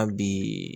Hali bi